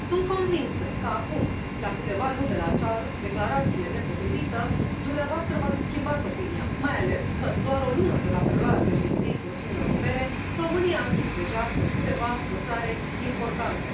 Sunt convinsă ca acum, la câteva luni de la acea declarație nepotrivită, dumneavoastră v ați schimbat opinia, mai ales că în doar o lună de la preluarea președinției Consiliului Uniunii Europene, România a închis deja câteva dosare importante.